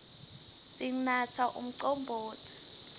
sinatsa umcombotsi